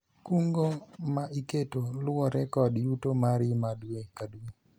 kungo ma iketo luwore kod yuto mari ma dwe ka dwe